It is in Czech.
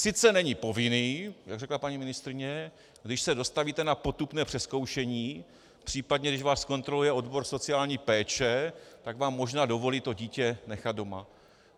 Sice není povinný, jak řekla paní ministryně, když se dostavíte na potupné přezkoušení, případně když vás kontroluje odbor sociální péče, tak vám možná dovolí to dítě nechat doma.